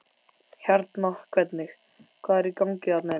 Hérna hvernig, hvað er í gangi þarna inni?